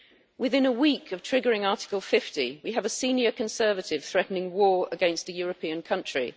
Within a week of triggering Article 50, we have a senior Conservative threatening war against a European country.